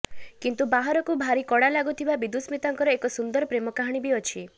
କିନ୍ତୁ ବାହାରକୁ ଭାରି କଡ଼ା ଲାଗୁଥିବା ବିଦୁସ୍ମିତାଙ୍କର ଏକ ସୁନ୍ଦର ପ୍ରେମ କାହାଣୀ ବି ଅଛି